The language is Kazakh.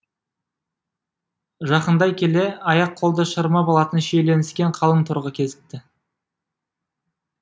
жақындай келе аяқ қолды шырмап алатын шиеленіскен қалың торға кезікті